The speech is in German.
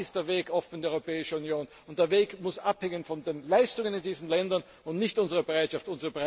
Dann ist der Weg offen in die Europäische Union, und der Weg muss abhängen von den Leistungen in diesen Ländern und nicht von unserer Bereitschaft.